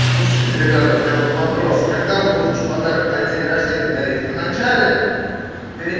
слушайте ребята у меня вот вопрос когда вот лучше подарок на день рождения дарить в начале перед